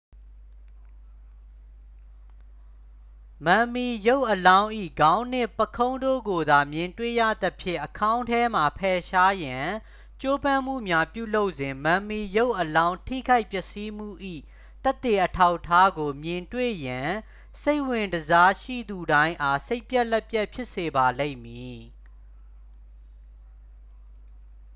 မမ်မီရုပ်အလောင်း၏ ခေါင်းနှင့် ပုခုံးတို့ကိုသာ မြင်တွေ့ရသဖြင့် အခေါင်းထဲမှ ဖယ်ရှားရန် ကြိုးပမ်းမှုများပြုလုပ်စဉ် မမ်မီရုပ်အလောင်းထိခိုက်ပျက်စီးမှု၏ သက်သေအထောက်အထားကို မြင်တွေ့ရန် စိတ်ဝင်တစားရှိသူတိုင်းအား စိတ်ပျက်လက်ပျက်ဖြစ်စေပါလိမ့်မည်